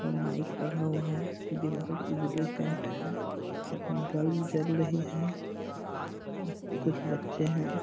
mic लगा हुआ है दीवाल उजले पेंट है बल्ब जल रहे हैं और कुछ बच्चे हैं |